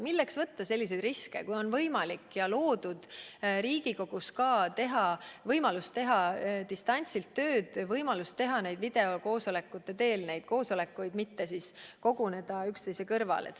Milleks võtta selliseid riske, kui Riigikogus on loodud ka võimalus teha tööd distantsilt, teha video teel oma koosolekuid, mitte koguneda üksteise kõrvale!